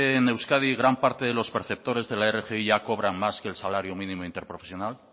en euskadi gran parte de los perceptores de la rgi ya cobran más que el salario mínimo interprofesional